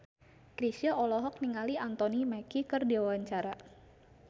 Chrisye olohok ningali Anthony Mackie keur diwawancara